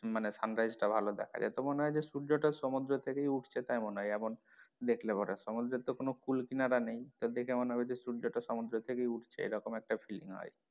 মানে sunrise টা ভালো দেখা যায় তো মনে হয় যে সূর্য টা সমুদ্রের থেকে উঠছে তাই মনে হয় এমন দেখলে পরে সমুদ্রের তো কোনো কুল কিনারা নেই তা দেখে মনে হবে যে সূর্য টা সমুদ্রের থেকেই উঠছে এরকম একটা feeling হয়।